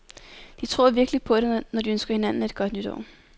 De tror virkelig på det, når de ønsker hinanden et godt nytår.